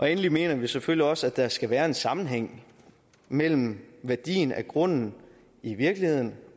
endelig mener vi selvfølgelig også at der skal være en sammenhæng mellem værdien af grunden i virkeligheden